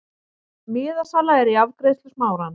Miðasala er í afgreiðslu Smárans.